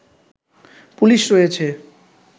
police রয়েছে